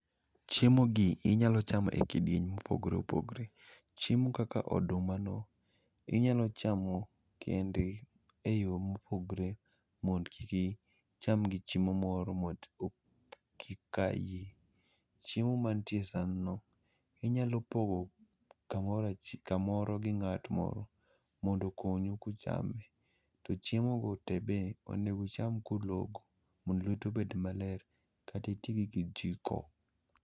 Chiemo gi inyalo chamo e kidieny mopogore opogre. Chiemo kaka oduma no inyalo chamo kendgi e yo mopogre mond kiki cham gi chiemo moro mat kik ka iyi. Chiemo mantie e san no inyalo pogo kamora achi, kamoro gi ng'at moro mondo okonyu kuchame. To chiemo go te be onego ucham kulogo mondo lwetu obed maler katuti gi kijiko.